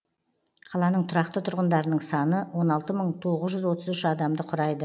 қаланың тұрақты тұрғындарының саны он алты мың тоғыз жүз отыз үш адамды құрайды